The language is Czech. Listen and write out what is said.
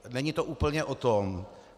Není to úplně o tom.